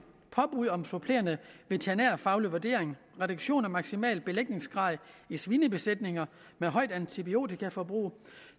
påbud om supplerende veterinærfaglig vurdering reduktion af maksimal belægningsgrad i svinebesætninger med højt antibiotikaforbrug